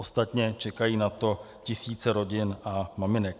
Ostatně čekají na to tisíce rodin a maminek.